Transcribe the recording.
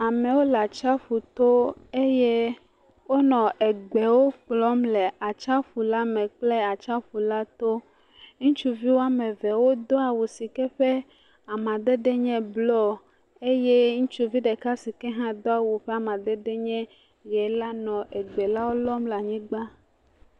Amewo le atsiaƒu to eye wonɔ egbewo kplɔm le atsiaƒu la me kple atsiaƒu la to, ŋutsuvi woame eve wodo awu si ke ƒe amadede nye blɔ eye ŋutsuvi ɖeka si ke hã ƒe amadede nye ʋe la nɔ egbewo lɔm le anyigba.